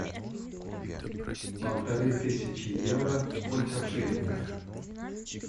полторы тысячи евро сколько в шиллингах